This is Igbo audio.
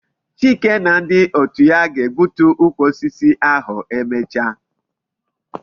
Chike na ndi otu ya ga-egbutu ukwu osisi ahu emecha